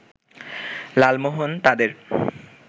লালমোহন তাদের